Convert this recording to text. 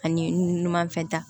Ani numanfɛ ta